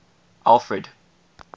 alfred